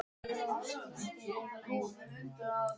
Og þegar hún loksins fór var Heiða komin inn með strákana.